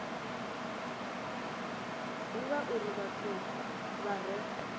divha uri vhathu vha re